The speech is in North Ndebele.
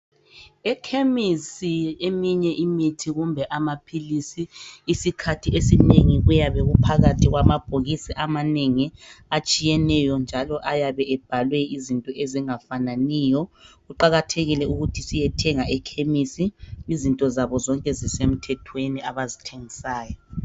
Ekhemisi eminye imithi kumbe amaphilisi isikhathi esinengi kuyabe kuphakathi kwama bhokisi amanengi atshiyeneyo njalo ayabe ebhaliwe izinto ezingafananiyo . Kuqakathekile ukuthi siyethenga ekhemisi izinto zabo zonke zisemthethweni abazithengisayo.